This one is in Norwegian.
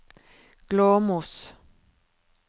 Glåmos